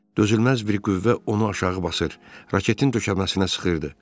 Dözülməz bir qüvvə onu aşağı basır, raketin döşəməsinə sıxırdı.